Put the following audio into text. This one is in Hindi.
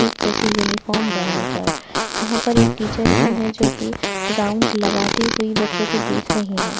एक जैसी यूनिफॉर्म पहन कर यहाँ पर एक टीचर भी है जो कि राउंड लगाती हुई बच्चों को देख रही है।